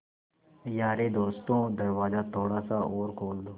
यारे दोस्तों दरवाज़ा थोड़ा सा और खोल दो